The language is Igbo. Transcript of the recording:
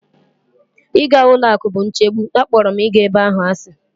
Ịga ụlọ akụ bụ nchegbu, akpọrọ m ịga ebe ahụ asị.